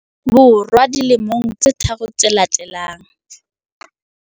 Bo rwa dilemong tse tharo tse latelang.